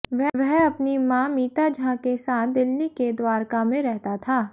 वह अपनी मां मीता झा के साथ दिल्ली के द्वारका में रहता था